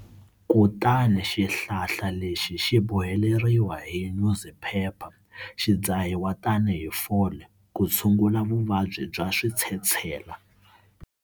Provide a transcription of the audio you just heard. Kutani xihlahla lexi xi boheleriwa hi nyuziphepha xi dzahiwa tanihi fole ku tshungula vuvabyi bya switshetshela.